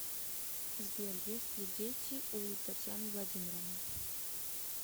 сбер есть ли дети у татьяны владимировны